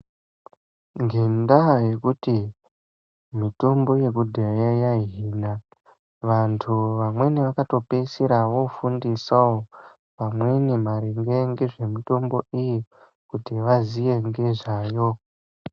Ngendaa yekuti mitombo yekudhaya yaihina antu amweni akapeisira eifundisa amweni maringe nemitombo iyi kuti azive ngezvayo